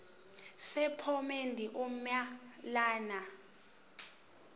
sephomedi uma lena